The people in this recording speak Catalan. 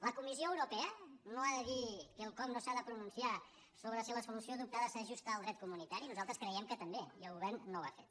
la comissió euro·pea no ha de dir quelcom no s’ha de pronunciar sobre si la solució adoptada s’ajusta al dret comunitari nos·altres creiem que també i el govern no ho ha fet